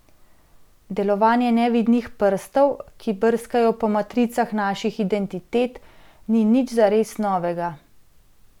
Delovanje nevidnih prstov, ki brskajo po matricah naših identitet, ni nič zares novega.